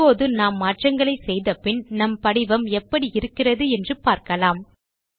இப்போது நாம் மாற்றங்களை செய்த பின் நம் படிவம் எப்படி இருக்கிறது என்று பார்க்கலாம்